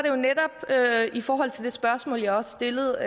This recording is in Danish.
jo netop i forhold til det spørgsmål jeg også stillede